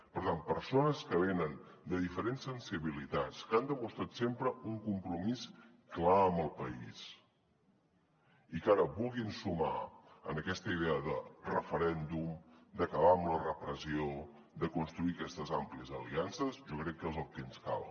per tant persones que venen de diferents sensibilitats que han demostrat sempre un compromís clar amb el país i que ara vulguin sumar en aquesta idea de referèndum d’acabar amb la repressió de construir aquestes àmplies aliances jo crec que és el que ens cal